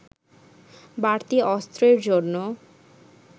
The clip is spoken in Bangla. বাড়তি অস্ত্রের জন্য